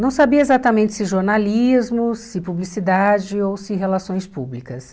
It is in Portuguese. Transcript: Não sabia exatamente se jornalismo, se publicidade ou se relações públicas.